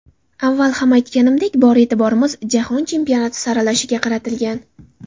Avval ham aytganimdek, bor e’tiborimiz Jahon Chempionati saralashiga qaratilgan.